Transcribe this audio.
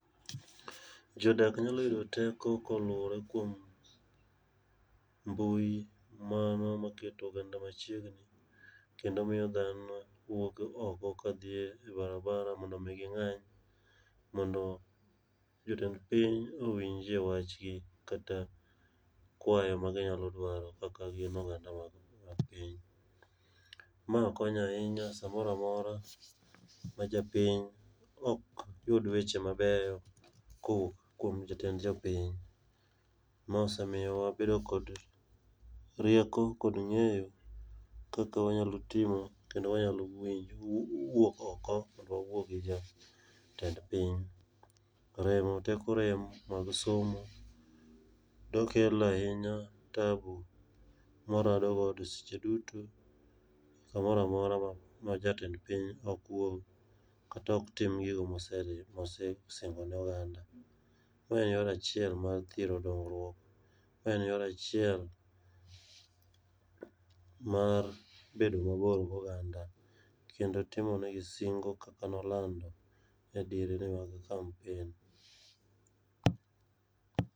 Jodak nyalo yudo teko kaluore kod mbui mano ma keto oganda ma chiegni kendo imiyo dhano wuok oko ka dhi e barabara mondo mi gi ng'any mondo jotend piny owinj e wach gi kata kwayo ma gi nyalo dwaro kaka gin oganda mag piny. Mae konyo ahinya sa moro amora ma japiny bo yud weche ma beyo ka owuok kuom jotend jo piny. Mae osemiyo wa bedo kod rieko kod ng'eyo kaka wanyalo timo, kendo wanyalo wuok oko mondo wa wuo gi jotend piny. Remo teko rem mag somo yo kelo ahinya taabu ma waradogo e seche duto ka moro amora ma jatend piny ok wuog kata ok tim gigo ma osesingo ne oganda. Ma en yor achiel mar thiro dongruok, ma en yo achiel mar bedo ma bor gi oganda kendo timo ne gi singo kaka ne alando e diere mag kampen.